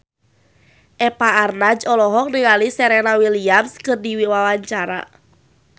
Eva Arnaz olohok ningali Serena Williams keur diwawancara